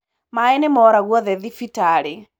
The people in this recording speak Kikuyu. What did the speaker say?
Maĩnĩmora guothe thibitarĩ.